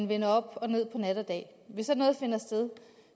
vendt op og ned på nat og dag